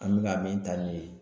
An bɛ ka min ta ni ye